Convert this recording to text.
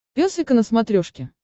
пес и ко на смотрешке